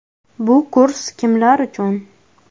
Bu kurs kimlar uchun?